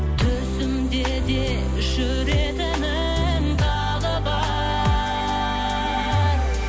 түсімде де жүрегіңнің дағы бар